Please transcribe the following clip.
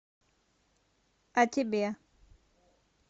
а тебе